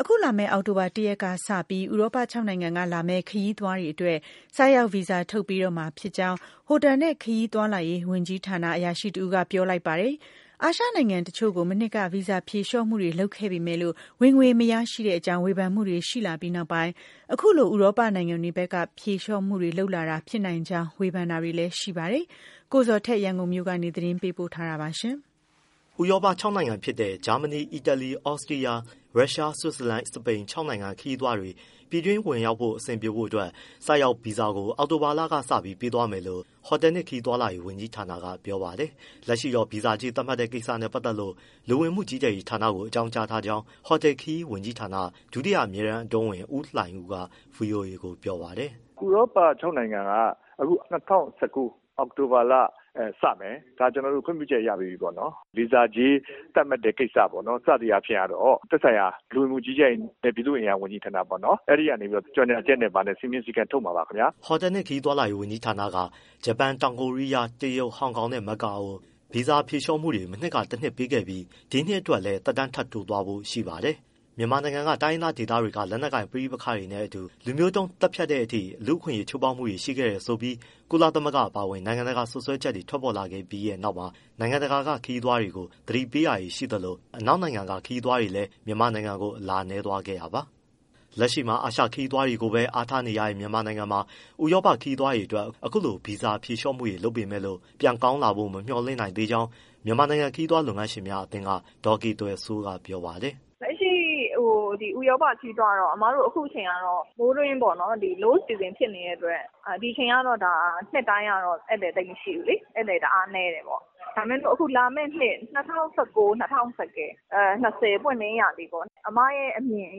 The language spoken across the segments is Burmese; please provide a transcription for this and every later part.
အခုလာမယ့်အောက်တိုဘာ ၁ရက်ကစပြီး ဥရောပခြောက်နိုင်ငံကလာမယ့် ခရီးသွားတွေအတွက် ဆိုက်ရောက်ဗီဇာထုတ်ပေးတော့မှာဖြစ်ကြောင်း ဟိုတယ်နှင့်ခရီးသွားလာရေးဝန်ကြီးဌာန အရာရှိတဦးကပြောလိုက်ပါတယ်။ အာရှနိုင်ငံတချို့ကို မနှစ်က ဗီဇာဖြေလျှော့မှုတွေလုပ်ခဲ့ပေမဲ့လို့ ဝင်ငွေမရရှိတဲ့အကြောင်း ဝေဖန်မှုတွေရှိလာပြီးနောက်ပိုင်း အခုလိုဥရောပနိုင်ငံတွေဘက် ဖြေလျှော့မှုလုပ်လာတာဖြစ်နိုင်ကြောင်း ဝေဖန်တာတွေလည်း ရှိပါတယ်။ ကိုဇော်ထက် ရန်ကုန်ကနေ သတင်းပေးပို့ထားတာဖြစ်ပါတယ်။ ဥရောပ ၆နိုင်ငံဖြစ်တဲ့ ဂျာမနီ၊ အီတလီ၊ သြစတီးယား၊ ရုရှ၊ ဆွစ်ဇာလန်၊ အီတလီ၊ စပိန် ခြောက်နိုင်ငံကခရီးသွားတွေ ပြည်ဝင်ခွင့်အဆင်ပြေဖို့အတွက် ဆိုက်ရောက်ဗီဇာကို အောက်တိုဘာကစပြီးပေးသွားမယ်လို့ ဟိုတယ်နှင့်ခရီးသွားလာရေးဝန်ကြီးဌာနကပြောပါတယ်။ လက်ရှိတော့ ဗီဇာကြေးသတ်မှတ်တဲ့ ကိစ္စနဲ့ပတ်သက်လို့ လူဝင်မှုကြီးကြပ်ရေးဌာနကိုအကြောင်းကြားထားကြောင်း ဟိုတယ်/ခရီးဝန်ကြီးဌာန ဒုတိယအမြဲတမ်းအတွင်းဝန် ဦးလှိုင်ဦးက ဗွီအိုအေကိုပြောပါတယ်။ “ ဥရောပခြောက်နိုင်ငံက အခု ၂၀၁၉ အောက်တိုဘာလစမယ်၊ ဒါကျနော်တို့ခွင့်ပြုချက်ရပြီးပြီပေါ့နော် ဗီဇာကြေးသတ်မှတ်တဲ့ကိစ္စပေါ့နော် စသည်အားဖြင့် ကတော့ လူဝင်မှုကြီးကြပ်ရေးနှင့်ပြည်သူ့အင်အားဝန်ကြီးဌာန အဲဒီကနေကြေညာချက်နဲ့ စည်းမျဉ်းစည်းကမ်းထုတ်မှာပါ။” ဟိုတယ်ခရီးဝန်ကြီးဌာနက ဂျပန်၊ တောင်ကိုရီးယား၊ တရုတ်၊ ဟောင်ကောင်နဲ့ မကာအိုကို ဗီဇာဖြေလျှော့မှုတွေ မနှစ်ကတနှစ်ပေးခဲ့ပြီး ဒီနှစ်အတွက်လည်း သက်တမ်းထပ်တိုးသွားဖို့ရှိပါတယ်။ မြန်မာနိုင်ငံက တိုင်းရင်းသား ဒေသတွေက လက်နက်ကိုင် ပဋိပက္ခတွေနဲ့အတူ လူမျိုးတုန်းသတ်ဖြတ်တဲ့အထိ လူ့အခွင့်အရေး ချိုးဖောက်မှုတွေ ရှိခဲတယ်ဆိုပြီး ကုလသမဂ္ဂ အပါအဝင် နိုင်ငံတကာက စွပ်စွဲချက်တွေ ထွက်ပေါ်ခဲ့ပြီးနောက် အနောက်နိုင်ငံက ခရီးသွားတွေကို သတိပေးတာတွေ ရှိခဲ့သလို၊ အနောက်နိုင်ငံသား ခရီးသွားတွေလည်း မြန်မာနိုင်ငံကို အလာနည်းသွားခဲ့တာပါ။ လက်ရှိမှာ အာရှခရီးသွားတွေကိုပဲ အားထားနေရတဲ့မြန်မာနိုင်ငံမှာ ဥရောပခရီးသွားတွေအတွက် ခုလိုဗီဇာဖြေလျှော့မှုတွေ လုပ်ပေမဲ့လို့ ပြန်ကောင်းလာဖို့ မမျှော်လင့်နိုင်သေးကြောင်း မြန်မာနိုင်ငံခရီးသွားလုပ်ငန်းရှင်များအသင်းက ဒေါ်ကေသွယ်စိုးက ပြောပါတယ်။ “ လက်ရှိဥရောပခရီးသွားကတော့ အမတို့အခုအချိန်ကတော့ မိုးတွင်း low season ဖြစ်နေတဲ့အတွက် ဒီအချိန်က နှစ်တိုင်းကတော့ ဧည့်သည်သိပ်မရှိဘူးလေ တအားနည်းတယ်ပေါ့။ ဒါပေမဲ့ အခုလာမယ့်နှစ် ၂၀၁၉-၂၀၂၀ ပွင့်လင်းရာသီပေါ့ အမရဲ့အမြင်အ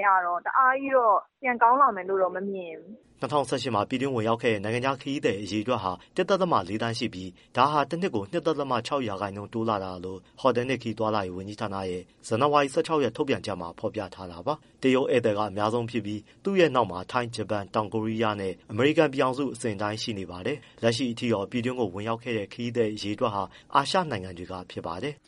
ရတော့ တအားကြီးတော့ ပြန်ကောင်းလာမယ်လို့ မမြင်ဘူး။” ၂၀၁၈မှာ ပြည်တွင်းဝင်ရောက်ခဲ့တဲ့ နိုင်ငံခြားခရီးသည်အရေအတွက်ဟာ ၁.၄သန်းရှိပြီး ဒါဟာတနှစ်ကို ၂.၆ရာခိုင်နှုန်းတိုးလာတာလို့ ဟိုတယ်နှင့် ခရီးသွားလာရေးဝန်ကြီးဌာနရဲ့ ဇန်နဝါရီ ၁၆ရက်ထုတ်ပြန်ချက်မှာဖော်ပြထားတာပါ။ တရုတ်ဧည့်သည်က အများဆုံးဖြစ်ပြီး သူ့ရဲ့နောက်မှာ ထိုင်း၊ ဂျပန်၊ တောင်ကိုရီယားနဲ့ အမေရိကန်ပြည်ထောင်စု အစဉ်အတိုင်းရှိပါတယ်။ လက်ရှိထိတော့ ပြည်တွင်းကိုဝင်ရောက်တဲ့ ခရီးသည်တွေဟာ အာရှနိုင်ငံတွေက ဖြစ်ပါတယ်။